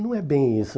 Não é bem isso.